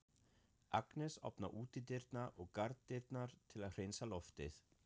Agnes opnar útidyrnar og garðdyrnar til að hreinsa loftið.